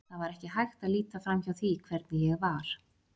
Það var ekki hægt að líta framhjá því hvernig ég var.